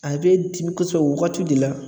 A bɛ dimi kosɛbɛ o wagati de la